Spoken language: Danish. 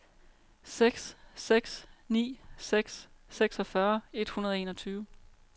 seks seks ni seks seksogfyrre et hundrede og enogtyve